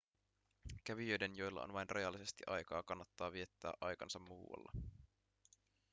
kävijöiden joilla on vain rajallisesti aikaa kannattaa viettää aikansa muualla